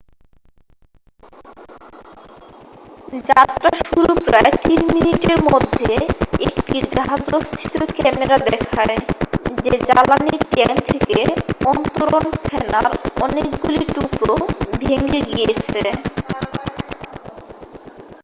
যাত্রা শুরুর প্রায় 3 মিনিটের মধ্যে একটি জাহাজস্থিত ক্যামেরা দেখায় যে জ্বালানীর ট্যাঙ্ক থেকে অন্তরণ ফেনার অনেকগুলি টুকরো ভেঙে গিয়েছে